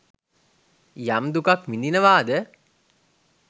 යම් දුකක් විඳිනවාද